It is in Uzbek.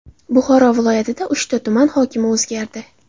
Buxoro viloyatida uchta tuman hokimi o‘zgardi.